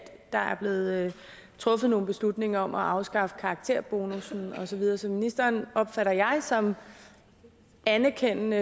der er blevet truffet nogle beslutninger om at afskaffe karakterbonussen og så videre så ministeren som anerkendende